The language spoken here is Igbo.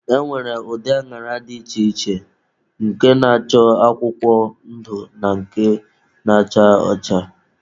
E nwere ụdị añara dị iche iche, nke na-acha akwụkwọ ndụ na nke na-acha ọcha.